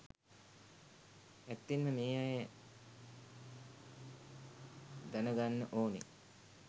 ඇත්තෙන්ම මේ අය දන ගන්න ඕනේ